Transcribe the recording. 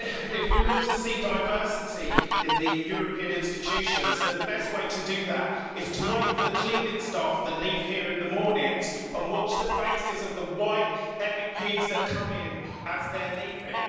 If we want to see diversity in the European institutions then the best way to do that is to wait for the cleaning staff that leave here in the mornings and watch the faces of the white MEPs that come in as they are leaving.